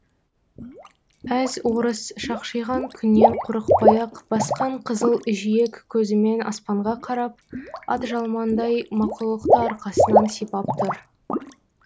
әз орыс шақшиған күннен қорықпай ақ басқан қызыл жиек көзімен аспанға қарап атжалмандай мақұлықты арқасынан сипап тұр